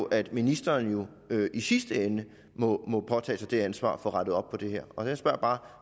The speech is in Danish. at ministeren i sidste ende må påtage sig det ansvar at få rettet op på det her og jeg spørger bare